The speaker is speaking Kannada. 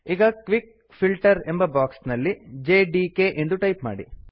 ಈಗ ಕ್ವಿಕ್ ಫಿಲ್ಟರ್ ಎಂಬ ಬಾಕ್ಸ್ ನಲ್ಲಿ ಜೆಡಿಕೆ ಎಂದು ಟೈಪ್ ಮಾಡಿ